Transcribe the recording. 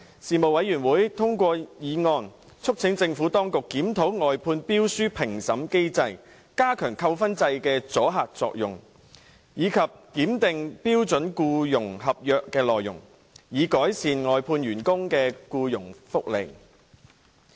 事務委員會通過議案，促請政府當局檢討外判標書評審機制、加強扣分制的阻嚇作用，以及檢定標準僱傭合約內容，以改善外判員工的僱傭福利。